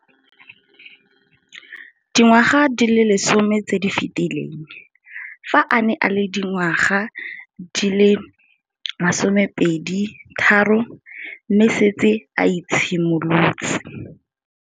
Dingwaga di le 10 tse di fetileng, fa a ne a le dingwaga di le 23 mme a setse a itshimoletse